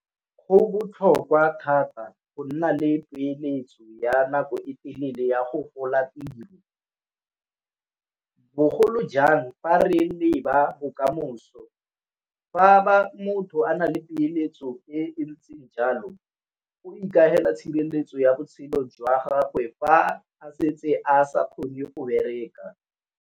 Go botlhokwa thata go nna le peeletso ya nako e telele ya go rola tiro, bogolo jang fa re le ba bokamoso, fa motho a na le peeletso e ntse jalo o ikaela tshireletso ya botshelo jwa gagwe fa a setse a sa kgone o bereka.